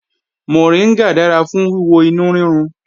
Mọ̀ríngà dára fún wíwo inú rírun